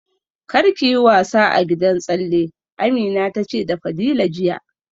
Kar ki yi wasa a gidan tsalle, Amina ta ce da Fadila jiya